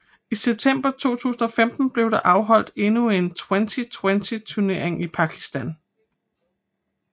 I september 2015 blev der holdt endnu en Twenty20 turnering i Pakistan